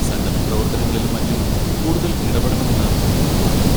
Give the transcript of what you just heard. സന്നദ്ധപ്രവർത്തനങ്ങളിലും മറ്റും കൂടുതൽ ഇടപെടണമെന്ന് എനിക്ക് തോന്നുന്നു.